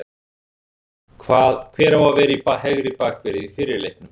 Hver á að vera í hægri bakverði í fyrri leiknum?